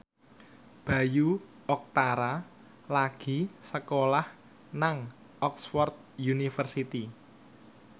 Bayu Octara lagi sekolah nang Oxford university